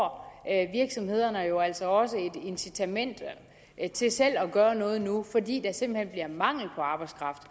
om at virksomhederne jo altså også får et incitament til selv at gøre noget nu fordi der simpelt hen bliver mangel på arbejdskraft